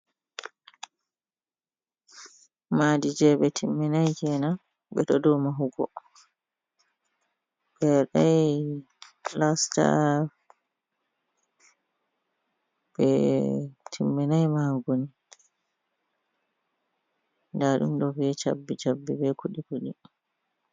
Maadi jey ɓe timminay keena ɓe ɗo dow mahugo. Ɓe waɗay pilasta, ɓe, timminay mahugo ni, ndaa ɗum ɗo bee cabbi-abbi bee kuɗi-kuɗi.